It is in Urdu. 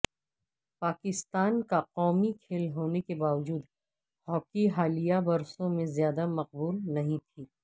پاکستان کا قومی کھیل ہونے کے باوجود ہاکی حالیہ برسوں میں زیادہ مقبول نہیں تھی